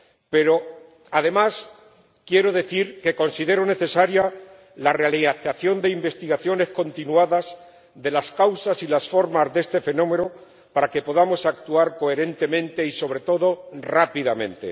Pero, además, quiero decir que considero necesaria la realización de investigaciones continuadas sobre las causas y las formas de este fenómeno para que podamos actuar coherentemente y, sobre todo, rápidamente.